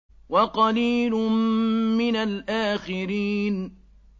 وَقَلِيلٌ مِّنَ الْآخِرِينَ